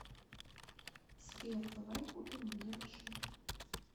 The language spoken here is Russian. сбер давай купим мне машину